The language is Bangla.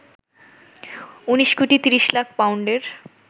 ১৯ কোটি ৩০ লাখ পাউন্ডের